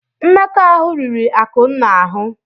Mmekọahụ riri Akụnna ahụ.